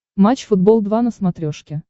матч футбол два на смотрешке